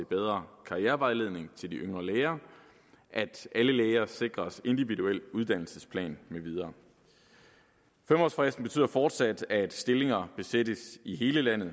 bedre karrierevejledning til de yngre læger at alle læger sikres individuel uddannelsesplan med videre fem årsfristen betyder fortsat at stillinger besættes i hele landet